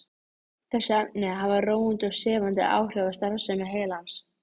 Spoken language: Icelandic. Þessi efni hafa róandi og sefandi áhrif á starfsemi heilans.